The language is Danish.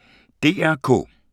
DR K